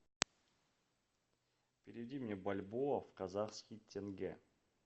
переведи мне бальбоа в казахский тенге